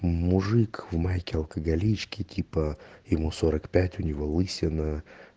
мужик в майке алкоголичке типа ему сорок пять у него лысина